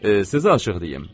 Sizə açıq deyim.